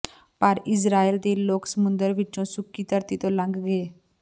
ਪਰ ਇਸਰਾਏਲ ਦੇ ਲੋਕ ਸਮੁੰਦਰ ਵਿੱਚੋਂ ਸੁੱਕੀ ਧਰਤੀ ਤੋਂ ਲੰਘ ਗਏ